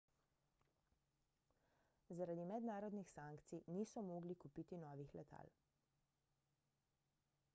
zaradi mednarodnih sankcij niso mogli kupiti novih letal